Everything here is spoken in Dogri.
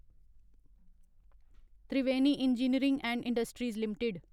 Triveni engineering and industries limited